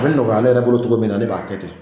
A bi nɔgɔya ne yɛrɛ bolo cogo min na, ne b'a kɛ ten